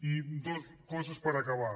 i dues coses per acabar